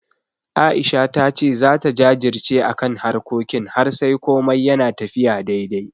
A'isha ta ce zata jajirce akan harkokin har sai komai yana tafiya daidai.